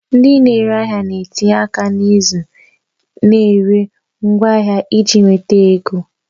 Ndị na-ere ahịa na-etinye aka n'ịzụ na ire ngwaahịa iji nweta ego